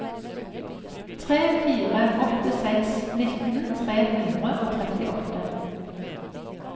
tre fire åtte seks nitten tre hundre og trettiåtte